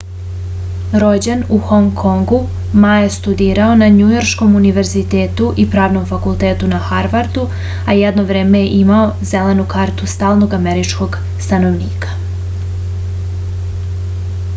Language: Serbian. rođen u hong kongu ma je studirao na njujorškom univerzitetu i pravnom fakultetu na harvardu a jedno vreme je imao zelenu kartu stalnog američkog stanovnika